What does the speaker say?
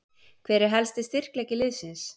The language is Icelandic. Hver er helsti styrkleiki liðsins?